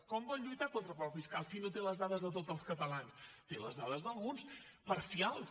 com vol lluitar contra el frau fiscal si no té les dades de tots els catalans té les dades d’alguns parcials